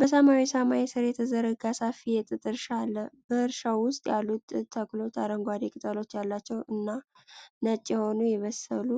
በሰማያዊ ሰማይ ሥር የተዘረጋ ሰፊ የጥጥ እርሻ አለ። በእርሻው ውስጥ ያሉት ጥጥ ተክሎች አረንጓዴ ቅጠሎች ያሏቸው እና፣ ነጭ የሆኑ የበሰሉ